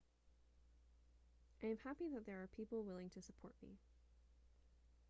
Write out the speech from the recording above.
i am happy that there are people willing to support me